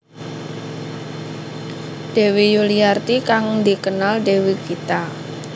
Dewi Yuliarti kang dikenal Dewi Gita